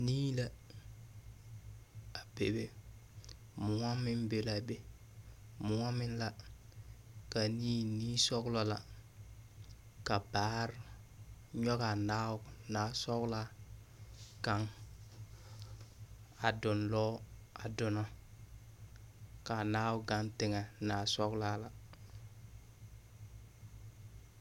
Nii la, a bebe mõͻ meŋ be la a be. Mõͻ meŋ la, ka a nii niisͻgelͻ la. Ka baare nyͻgaa naabo, naasͻgelaa kaŋa, a donlͻͻ a donͻ. Ka a naao gaŋ teŋԑ aaasͻgelaa la.